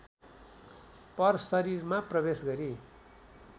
परशरीरमा प्रवेश गरी